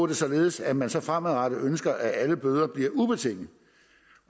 det således at man så fremadrettet ønsker at alle bøder bliver ubetingede